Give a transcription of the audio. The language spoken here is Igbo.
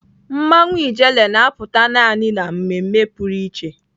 Mmanwụ ijele na-apụta naanị na mmemme pụrụ iche.